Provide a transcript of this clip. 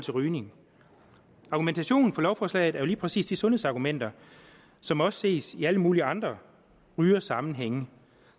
rygning argumentationen for lovforslaget er jo lige præcis de sundhedsargumenter som også ses i alle mulige andre rygersammenhænge